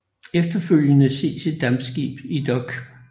Efterfølgende ses et dampskib i dok